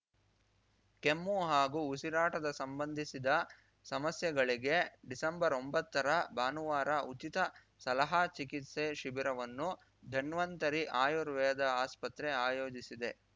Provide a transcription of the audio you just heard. ಕೆಮ್ಮು ಹಾಗೂ ಉಸಿರಾಟದ ಸಂಬಂಧಿಸಿದ ಸಮಸ್ಯೆಗಳಿಗೆ ಡಿಸೆಂಬರ್ಒಂಬತ್ತರ ಭಾನುವಾರ ಉಚಿತ ಸಲಹಾ ಚಿಕಿತ್ಸೆ ಶಿಬಿರವನ್ನು ಧನ್ವಂತರಿ ಆಯುರ್ವೇದ ಆಸ್ಪತ್ರೆ ಆಯೋಜಿಸಿದೆ